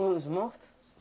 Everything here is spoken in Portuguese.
Os morto?